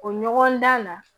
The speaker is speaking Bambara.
O ɲɔgɔndan na